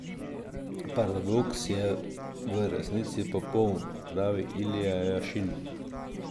Paradoks je v resnici popoln, pravi Ilja Jašin.